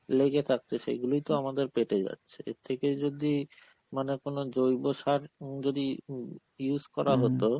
লেগে থাকছে, সেই গুলোই তো আমাদের পেটে যাচ্ছে, এর থেকে যদি মানে কোন দ্রৈব সার উম যদি উম use করা হতো